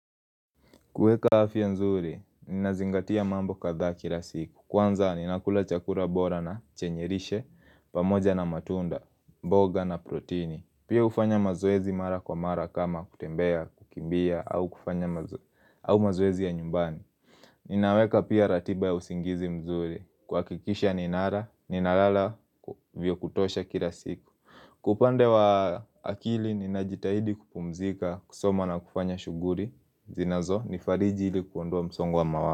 Kuweka afya nzuri, ninazingatia mambo kadha kila siku. Kwanza, ninakula chakula bora na chenye lishe, pamoja na matunda, mboga na protini. Pia hufanya mazoezi mara kwa mara kama kutembea, kukimbia, au kufanya mazoezi ya nyumbani. Ninaweka pia ratiba ya usingizi mzuri, kuhakikisha ninala, ninalala, vyakutosha kila siku. Kwa upande wa akili, ninajitahidi kupumzika, kusoma na kufanya shughuli zinazo ni fariji ilikuondoa msongo wa mawazo.